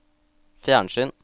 fjernsyn